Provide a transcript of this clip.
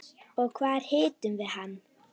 Og hvar hittum við hann?